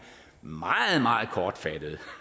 meget meget kortfattede